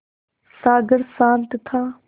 सागर शांत था